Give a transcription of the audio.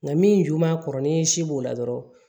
Nka min ju b'a kɔrɔ ni si b'o la dɔrɔn